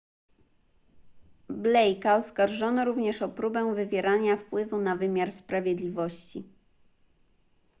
blake'a oskarżono również o próbę wywierania wpływu na wymiar sprawiedliwości